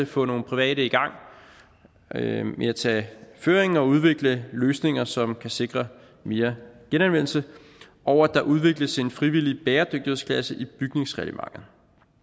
få nogle private i gang med at tage føringen og udvikle løsninger som kan sikre mere genanvendelse og at der udvikles en frivillig bæredygtighedsklasse i bygningsreglementet